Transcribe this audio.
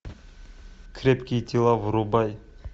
крепкие тела врубай